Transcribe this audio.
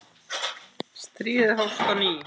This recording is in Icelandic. Stríðið hófst á ný.